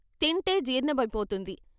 తింటే జీర్ణమైపోతుంది.